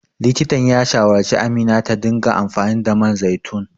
Likitan ya shawarci Amina ta dinga amfani da man zaitun.